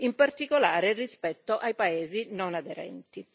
in particolare rispetto ai paesi non aderenti.